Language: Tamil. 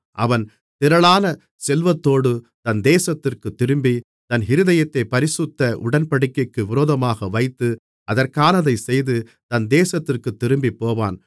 அவன் திரளான செல்வத்தோடு தன் தேசத்திற்குத் திரும்பி தன் இருதயத்தைப் பரிசுத்த உடன்படிக்கைக்கு விரோதமாக வைத்து அதற்கானதைச் செய்து தன் தேசத்திற்குத் திரும்பிப்போவான்